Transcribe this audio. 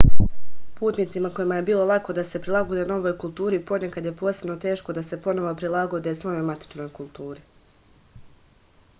putnicima kojima je bilo lako da se prilagode novoj kulturi ponekad je posebno teško da se ponovo prilagode svojoj matičnoj kulturi